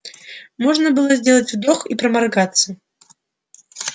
можно было сделать вдох и проморгаться